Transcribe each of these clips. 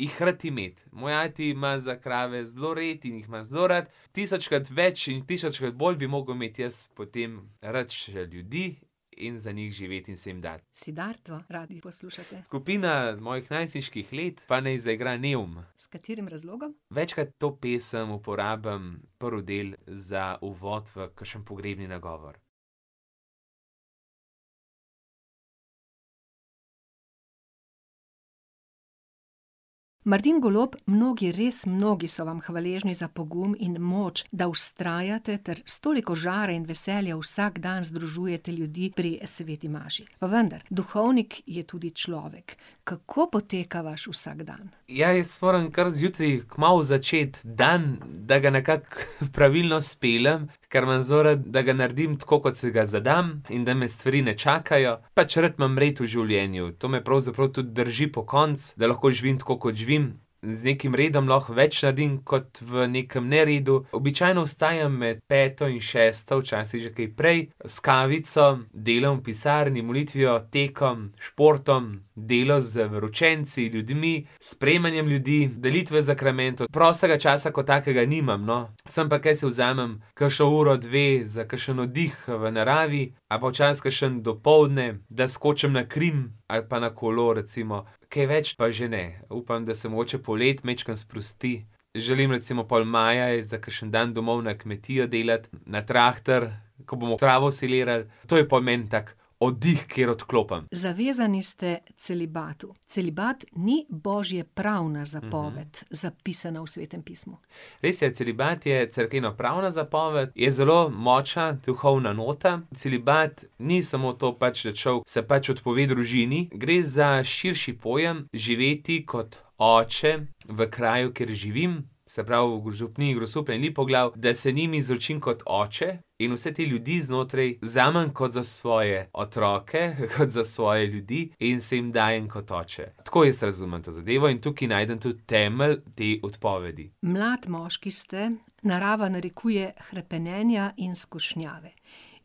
jih rad imeti. Moj ati ima za krave zelo rad in jih ima zelo rad. Tisočkrat več in tisočkrat bolj bi mogel imeti jaz potem rad še ljudi in za njih živeti in se jim dati. Siddharto radi poslušate? Skupina mojih najstniških let, pa naj zaigra Neum. S katerim razlogom? Večkrat to pesem uporabim prvi del za uvod v kakšen pogrebni nagovor. Martin Golob, mnogi, res mnogi so vam hvaležni za pogum in moč, da vztrajate ter s toliko žara in veselja vsak dan združujete ljudi pri sveti maši. Pa vendar. Duhovnik je tudi človek. Kako poteka vaš vsakdan? Ja, jaz moram kar zjutraj kmalu začeti dan, da ga nekako pravilno speljem, ker imam zelo rad, da ga naredim, tako kot si ga zadam. In da me stvari ne čakajo. Pač rad imam red v življenju. To me pravzaprav tudi drži pokonci. Da lahko živim tako, kot živim. Z nekim redom lahko več naredim kot v nekem neredu. Običajno vstajam med peto in šesto. Včasih že kaj prej. S kavico, delom v pisarni, molitvijo, tekom, športom. Delo z veroučenci, ljudmi. S sprejemanjem ljudi, delitve zakramentov. Prostega časa kot takega nimam, no. Sem pa tja si vzamem kakšno uro, dve za kakšen oddih v naravi. Ali pa včasih kakšno dopoldne, da skočim na Krim ali pa na kolo, recimo. Kaj več pa že ne. Upam, da se mogoče poleti majčkeno sprosti. Želim recimo pol maja iti za kakšen dan domov na kmetijo delati. Na traktor, ko bomo travo silirali. To je pol meni tak oddih, kjer odklopim. Zavezani ste celibatu. Celibat ni božjepravna zapoved, zapisana v Svetem pismu. Res je. Celibat je cerkvenopravna zapoved, je zelo močna duhovna nota. Celibat ni samo to, pač da človek se pač odpove družini. Gre za širši pojem, živeti kot oče, v kraju, kjer živim. Se pravi v župniji Grosuplje in Lipoglav, da se njim izročim kot oče in vse te ljudi znotraj vzamem kot za svoje otroke, kot za svoje ljudi in se jim dajem kot oče. Tako jaz razumem to zadevo in tudi tudi najdem temelj te odpovedi. Mlad moški ste, narava narekuje hrepenenja in skušnjave.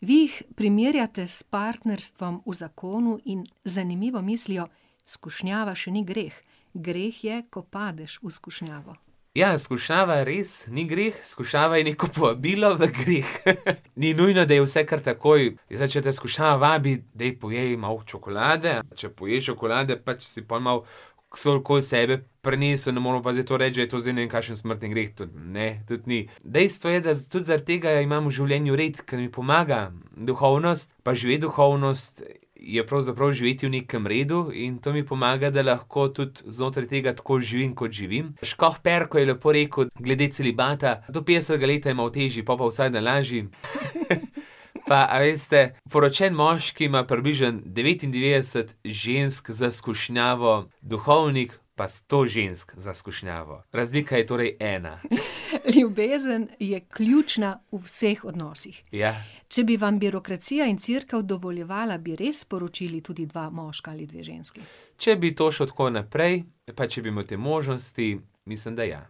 Vi jih primerjate s partnerstvom v zakonu in z zanimivo mislijo: "Skušnjava še ni greh." Greh je, ko padeš v skušnjavo. Ja, skušnjava res ni greh. Skušnjava je neko povabilo v greh. Ni nujno, da je vse kar takoj, zdaj če te skušnjava vabi: "Daj pojej malo čokolade." Če poješ čokolade, pač si pol malo okoli sebe prinesel. Ne moremo pa zdaj to reči, da je to zdaj ne vem kakšen smrtni greh. To ne. Tudi ni. Dejstvo je, da tudi zaradi tega imam v življenju red, ker mi pomaga. Duhovnost pa živeti duhovnost je pravzaprav živeti v nekem redu in to mi pomaga, da lahko tudi znotraj tega tako živim, kot živim. Škof Perko je lepo rekel glede celibata: "Do petdesetega leta je malo težji, pol pa vsak dan lažji." Pa, a veste poročen moški ima približno devetindevetdeset žensk za skušnjavo, duhovnik pa sto žensk za skušnjavo. Razlika je torej ena. Ljubezen je ključna v vseh odnosih. Ja. Če bi vam birokracija in Cerkev dovoljevala, bi res poročili tudi dva moška ali dve ženski? Če bi to šlo tako naprej, pa če bi imeli te možnosti, mislim, da ja.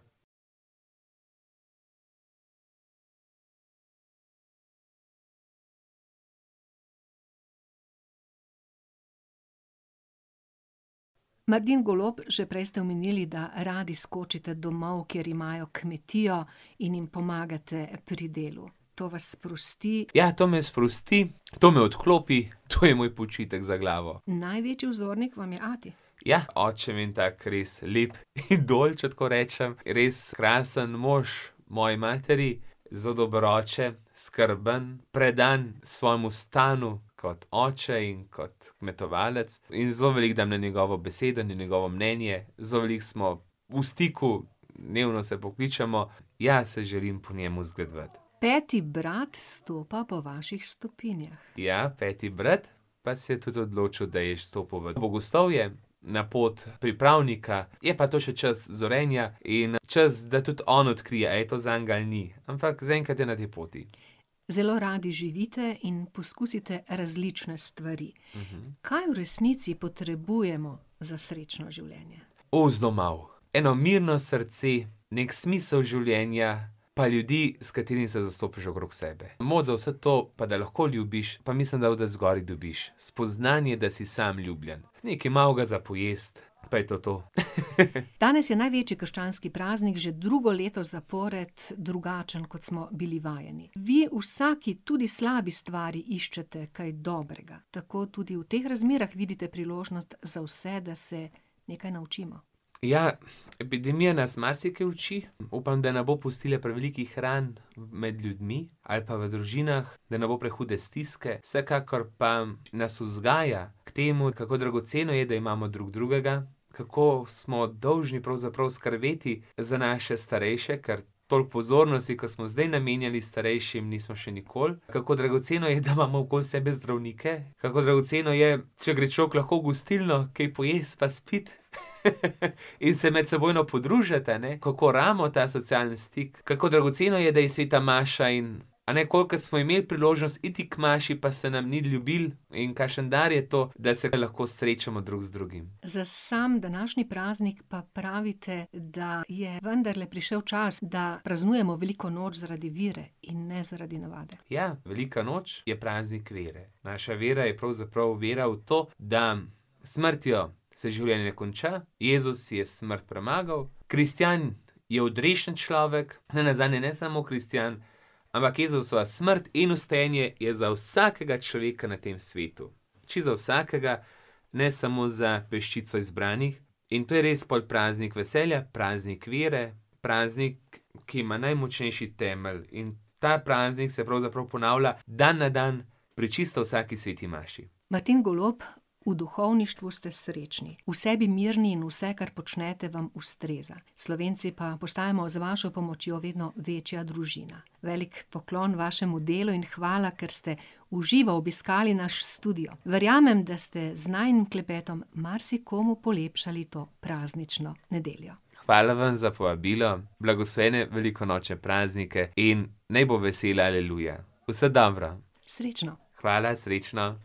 Martin Golob, že prej ste omenili, da radi skočite domov, kjer imajo kmetijo, in jim pomagate pri delu. To vas sprosti. Ja, to me sprosti, to me odklopi, to je moj počitek za glavo. Največji vzornik vam je ati. Ja, oče mi je en tak res lep idol, če tako rečem. Res krasen mož moji materi, zelo dober oče, skrben, predan svojemu stanu kot oče in kot kmetovalec. In zelo veliko dam na njegovo besedo, na njegovo mnenje. Zelo veliko smo v stiku, dnevno se pokličemo. Ja, se želim po njem zgledovati. Peti brat stopa po vaših stopinjah. Ja. Peti brat pa se je tudi odločil, da je vstopil v bogoslovje. Na pot pripravnika. Je pa to še čas zorenja in čas, da tudi on odkrije, a je to zanj ali ni. Ampak zaenkrat je na tej poti. Zelo radi živite in poskusite različne stvari. Kaj v resnici potrebujemo za srečno življenje? zelo malo. Eno mirno srce. Neki smisel življenja. Pa ljudi, s katerimi se zastopiš, okrog sebe. Moč za vse to, pa da lahko ljubiš, pa mislim, da od odzgoraj dobiš spoznanje, da si sam ljubljen. Nekaj malega za pojesti. Pa je to to. Danes je največji krščanski praznik, že drugo leto zapored drugačen, kot smo bili vajeni. Vi v vsaki, tudi slabi stvari, iščete kaj dobrega. Tako tudi v teh razmerah vidite priložnost za vse, da se nekaj naučimo. Ja. Epidemija nas marsikaj uči, upam, da ne bo pustila prevelikih ran med ljudmi ali pa v družinah. Da ne bo prehude stiske. Vsekakor pa nas vzgaja k temu, kako dragoceno je, da imamo drug drugega. Kako smo dolžni pravzaprav skrbeti za naše starejše, ker toliko pozornosti, kot smo zdaj namenjali starejšim, nismo še nikoli. Kako dragoceno je, da imamo okoli sebe zdravnike, kako dragoceno je, če gre človek lahko v gostilno kaj pojesti pa spiti in se medsebojno podružiti, a ne. Kako rabimo ta socialni stik, kako dragoceno je, da je sveta maša in ... A ne, kolikokrat smo imeli priložnost iti k sveti maši, pa se nam ni ljubilo in kakšen dar je to, da se lahko srečamo drug z drugim. Za sam današnji praznik pa pravite, da je vendarle prišel čas, da praznujemo veliko noč zaradi vere in ne zaradi navade. Ja, velika noč je praznik vere. Naša vera je pravzaprav vera v to, da s smrtjo se življenje konča, Jezus je smrt premagal, kristjan je odrešen človek. Nenazadnje ne samo kristjan, ampak Jezusova smrt in vstajenje je za vsakega človeka na tem svetu. Čisto za vsakega, ne samo za peščico izbranih. In to je res pol praznik veselja, praznik vere. Praznik, ki ima najmočnejši temelj, in ta praznik se pravzaprav ponavlja dan na dan pri čisto vsaki sveti maši. Martin Golob v duhovništvu ste srečni, v sebi mirni in vse, kar počnete, vam ustreza, Slovenci pa postajamo z vašo pomočjo vedno večja družina. Veliko poklon vašemu delu in hvala, ker ste v živo obiskali naš studio. Verjamem, da ste z najinim klepetom marsikomu polepšali to praznično nedeljo. Hvala vam za povabilo. Blagoslovljene velikonočne praznike in naj bo vesela aleluja. Vse dobro. Srečno. Hvala, srečno.